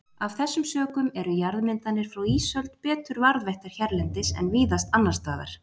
Af þessum sökum eru jarðmyndanir frá ísöld betur varðveittar hérlendis en víðast annars staðar.